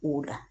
O la